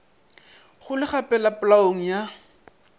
go le gapela polaong ya